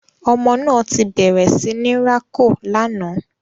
Ọmọ náà tí bẹrẹ sí ní rako lànà